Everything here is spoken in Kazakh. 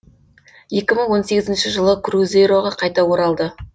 екі мың он сегізінші жылы крузейроға қайта оралды